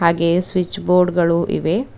ಹಾಗೆಯೇ switch board ಗಳು ಇವೆ.